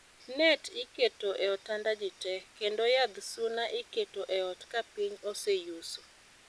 Net iketo e otanda ji te, kendo yadh suna iketo e ot ka piny oseyuso